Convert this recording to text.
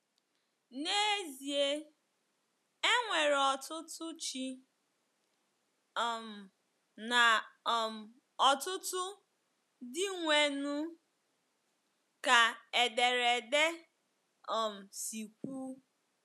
N’ezie, “e nwere ọtụtụ ‘ chi ’ um na um ọtụtụ ‘ dịnwenụ, ’” ka ederede um si kwuu.